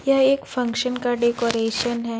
यह एक फंक्शन का डेकोरेशन हैं।